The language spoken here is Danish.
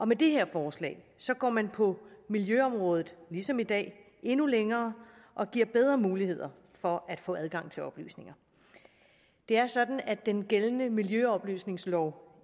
med det her forslag går man på miljøområdet ligesom i dag endnu længere og giver bedre muligheder for at få adgang til oplysninger det er sådan at den gældende miljøoplysningslov